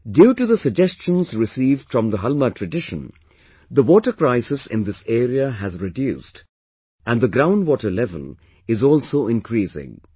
Due to the suggestions received from the Halma tradition, the water crisis in this area has reduced and the ground water level is also increasing